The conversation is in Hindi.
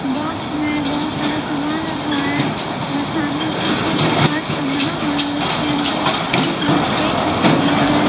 बॉक्स में बहुत सारा सामान रखा हुआ हैऔर सामने सीसी का कांच का बना हुआ है और उसके अंदर केक रखे गए हैं।